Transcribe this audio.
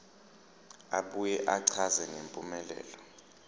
abuye achaze ngempumelelo